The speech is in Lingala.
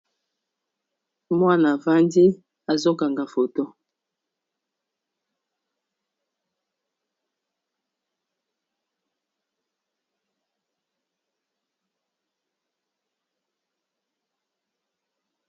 Mwana vandi azokanga foto.